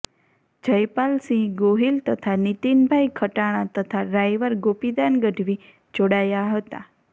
જયપાલસિંહ ગોહીલ તથા નિતીનભાઈ ખટાણા તથા ડ્રાઇવર ગોપીદાન ગઢવી જોડાયા હતા